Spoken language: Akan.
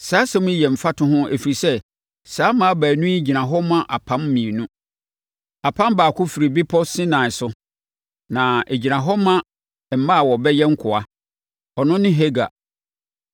Saa asɛm yi yɛ mfatoho ɛfiri sɛ, saa mmaa baanu yi gyina hɔ ma apam mmienu. Apam baako firi bepɔ Sinai so, na ɛgyina hɔ ma mma a wɔbɛyɛ nkoa: Ɔno ne Hagar.